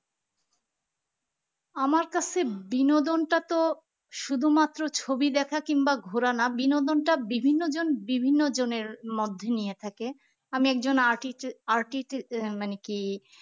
আমার কাছে বিনোদন টা তো শুধুমাত্র ছবি দেখা কিংবা ঘোড়া না বিনোদনটা বিভিন্নজন বিভিন্ন জনের মধ্যে নিয়ে থাকে আমি একজন এর মানে কি